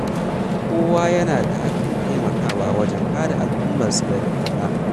Kowa yana da hakkin taimakawa wajen kare al’ummarsa daga barna.